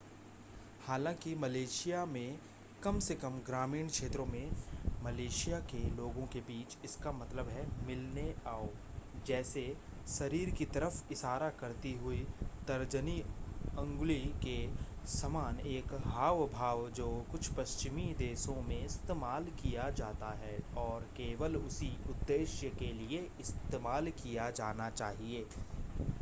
हालांकि मलेशिया में कम से कम ग्रामीण क्षेत्रों में मलेशिया के लोगों के बीच इसका मतलब है मिलने आओ जैसे शरीर की तरफ़ इशारा करती हुई तर्जनी अंगुली के समान एक हाव-भाव जो कुछ पश्चिमी देशों में इस्तेमाल किया जाता है और केवल उसी उद्देश्य के लिए इस्तेमाल किया जाना चाहिए